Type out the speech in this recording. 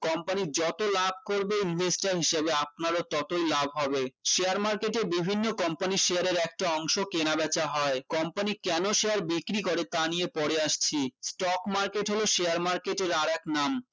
company এর যতো লাভ করবে investor হিসেবে আপনারও ততই লাভ হবে share market এ বিভিন্ন company share এর একটি অংশ কেনা বেচা হয় company কেন share বিক্রি করে তা নিয়ে পরে আসছি stock market হল share market এর আরেক নাম